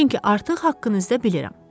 Çünki artıq haqqınızda bilirəm.